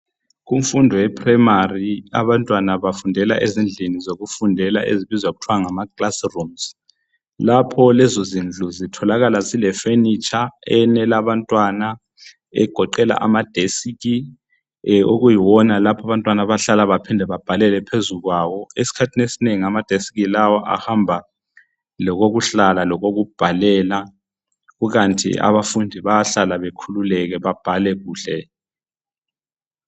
Kumfundo ye Primary abantwana bafundela ezindlini zokufundela ezibizwa kuthiwa ngama classrooms. Lapho lezozindlu zitholakala zile furniture eyenela abantwana egoqela ama desk okuyiwona abantwana abahlala baphinde babhalele phezu kwawo. Esikhathini esinengi ama desk lawa ahamba lokokuhlala lokokubhalela kukanti abafundi bayahlala babhale bekhululekile.